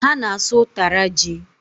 Ha na-asụ ụtara ji